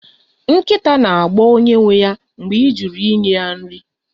Nkịta na-agbọ onye nwe ya mgbe ị jụrụ inye ha nri